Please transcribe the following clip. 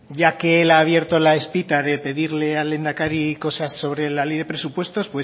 ya que él ha abierto la espita de pedirle al lehendakari cosas sobre la ley de presupuestos